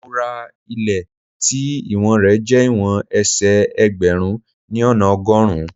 Mo ra ilé tí ìwọ̀n rẹ jẹ́ ìwọ̀n ẹsẹ̀ ẹgbẹ̀rún ni ona ọgọ́rùn-ún.